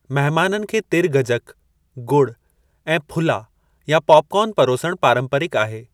महिमाननि खे तिर गजक, ॻुड़ ऐं फुला या पॉपकॉर्न परोसणु पारंपरिक आहे।